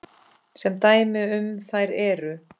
Sem dæmi um þær eru